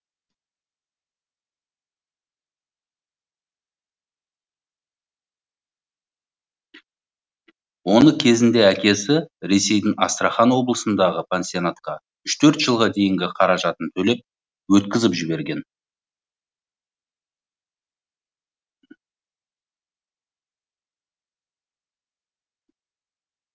оны кезінде әкесі ресейдің астрахан облысындағы пансионатқа үш төрт жылға дейінгі қаражатын төлеп өткізіп жіберген